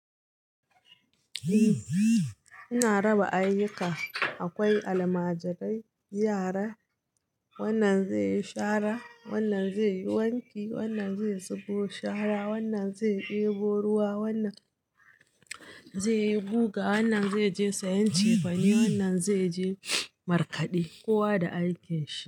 Eh, ina raba ayyuka. Akwai almajirai, yara, wannan zai yi shara, wannan zai yi wanki, wannan zai zubo shara, wannan zai ɗebo ruwa, wannan zai yi guga, wannan zai je sayan cefane, wannan zai je markaɗe. Kowa da aikinsa.